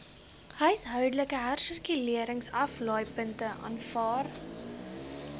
huishoudelike hersirkuleringsaflaaipunte aanvaar